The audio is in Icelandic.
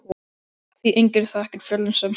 Því enginn þekkir fjöllin sem hann.